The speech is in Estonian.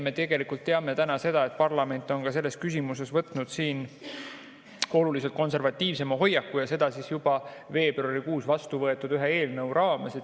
Me tegelikult teame, et parlament on ka selles küsimuses võtnud oluliselt konservatiivsema hoiaku ja seda juba ühe veebruarikuus vastuvõetud eelnõu raames.